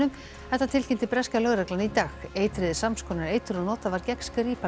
þetta tilkynnti breska lögreglan í dag eitrið er sams konar eitur og notað var gegn Skripal